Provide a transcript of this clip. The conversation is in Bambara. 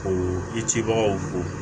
O i cibagaw ko